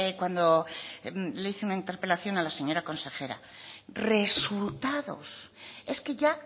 cuando le hice una interpelación a la señora consejera resultados es que ya